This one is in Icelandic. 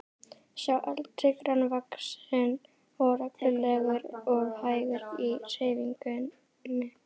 Sá eldri grannvaxinn og renglulegur og hægur í hreyfingum.